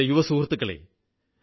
എന്റെ യുവസുഹൃത്തുക്കളേ